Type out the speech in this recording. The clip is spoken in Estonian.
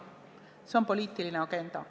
See on poliitiline agenda.